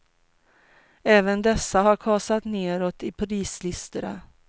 Även dessa har kasat nedåt i prislistorna.